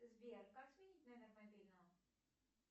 сбер как сменить номер мобильного